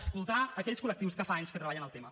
escoltar aquells col·lectius que fa anys que treballen el tema